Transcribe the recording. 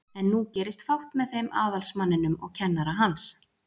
En nú gerist fátt með þeim aðalsmanninum og kennara hans.